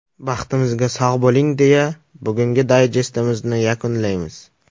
Baxtimizga sog‘ bo‘ling, deya bugungi dayjestimizni yakunlaymiz.